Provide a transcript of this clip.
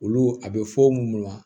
Olu a bɛ fɔ munnu ma